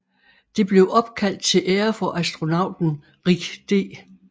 Det blev opkaldt til ære for astronauten Rick D